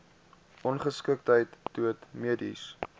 ongeskiktheid dood mediese